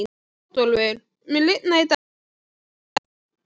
Bótólfur, mun rigna í dag?